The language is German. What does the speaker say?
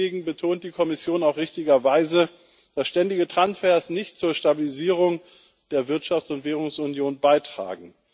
Deswegen betont die Kommission auch richtigerweise, dass ständige Transfers nicht zur Stabilisierung der Wirtschafts und Währungsunion beitragen.